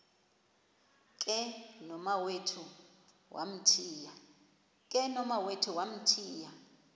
ke nomawethu wamthiya